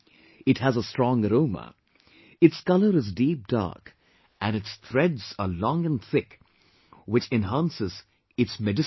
It has a strong aroma, its color is deep dark and its threads are long and thick which enhances its medicinal value